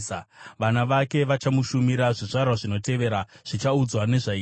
Vana vake vachamushumira; zvizvarwa zvinotevera zvichaudzwa nezvaIshe.